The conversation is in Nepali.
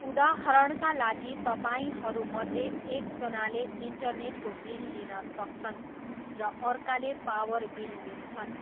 उदाहरणका लागि तपाईँहरूमध्ये एकजनाले इन्टरनेटको बिल लिन सक्छन् र अर्काले पावर बिल लिन्छन्।